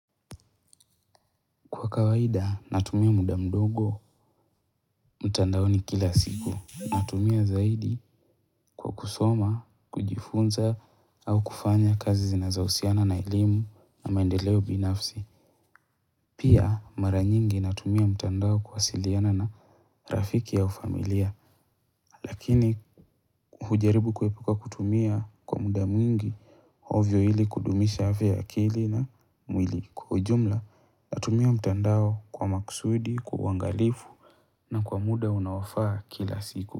Kwa kawaida natumia muda mdogo mtandaoni kila siku natumia zaidi kwa kusoma kujifunza au kufanya kazi zinazohusiana na elimu na maendeleo binafsi pia mara nyingi natumia mtandao kuwasiliana na rafiki au familia lakini hujaribu kuepuka kutumia kwa muda mwingi ovyo hili kudumisha afya ya akili na mwili kwa ujumla natumia mtandao kwa makusudi kwa uwangalifu. Na kwa muda unaofaa kila siku.